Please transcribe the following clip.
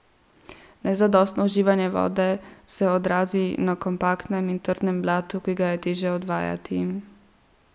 Nezadostno uživanje vode se odrazi na kompaktnem in trdem blatu, ki ga je težje odvajati.